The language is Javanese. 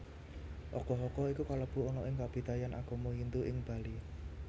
Ogoh ogoh iku kalebu ana kabidayan Agama Hindu Ing Bali